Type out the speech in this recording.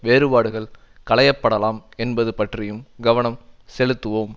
வேறுபாடுகள் களையப்படலாம் என்பது பற்றியும் கவனம் செலுத்துவோம்